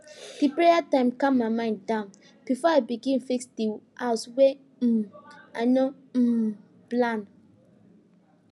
di prayer time calm my mind down before i begin fix di house wey um i no um plan